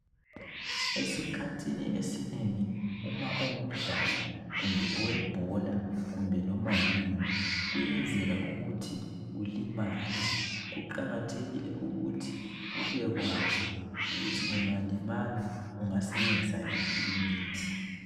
Esikhathini esinengi uma ungumdlali kumbe owebhola, kumbe noma yini, kuyenzeka ukuthi ulimale. Kuqakathekile ukuthi ubekwazi ukuthi ungalimala ungasebenzisa iphi imithi.